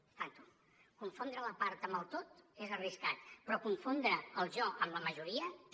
compte confondre la part amb el tot és arriscat però confondre el jo amb la majoria també